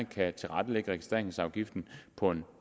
kan tilrettelægge registreringsafgiften på en